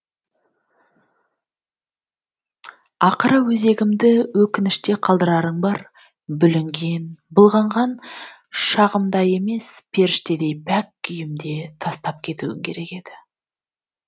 ақыры өзегімді өкініште қалдырарың бар бүлінген былғанған шағымда емес періштедей пәк күйімде тастап кетуің керек еді